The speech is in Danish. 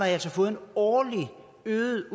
altså fået en øget